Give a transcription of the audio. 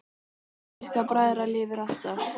Minning ykkar bræðra lifir alltaf!